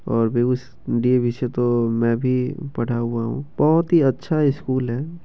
और बेगुस डी.ए.वी. से तो मै भी पढ़ा हुआ हूं बहुत अच्छा स्कूल है।